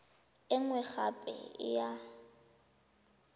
e nngwe gape e ya